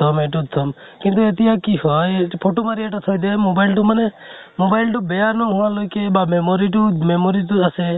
তোত থম । এইটোত থম । কিন্তু এতিয়া কি হয়, photo মাৰি এটা থৈ দিয়ে, mobile তো মানে, mobile তো বেয়া নোহোৱা লৈকে বা memory টো memory টো আছে।